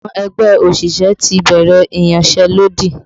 Àwọn ẹgbẹ́ òṣìṣẹ́ ti bẹ̀rẹ̀ iyanselodi